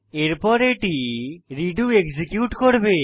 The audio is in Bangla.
এরপর এটি রেডো এক্সিকিউট করবে